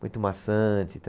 Muito maçante.